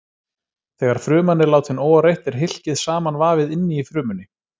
Þegar fruman er látin óáreitt er hylkið samanvafið inni í frumunni.